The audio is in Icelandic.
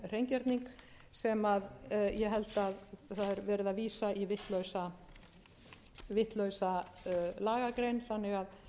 hreingerning sem ég held að það er verið að vísa í vitlausa lagagrein þannig að